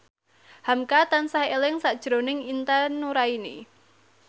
hamka tansah eling sakjroning Intan Nuraini